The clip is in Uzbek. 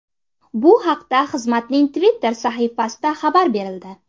Bu haqda xizmatning Twitter’dagi sahifasida xabar berildi .